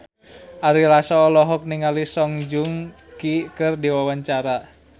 Ari Lasso olohok ningali Song Joong Ki keur diwawancara